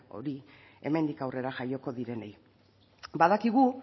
hori hemendik aurrera jaioko direnei badakigu